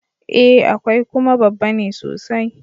E, akwai, kuma babba ne sosai.